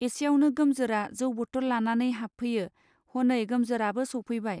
एसेयावनो गोमजोरा जौ बटल लानानै हाबफैयो हनै गोमजोराबो सौफैबाय.